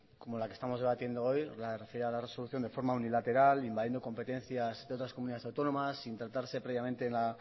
como la que estamos debatiendo hoy referida a la resolución de forma unilateral invadiendo competencias de otras comunidades autónomas sin tratarse previamente en el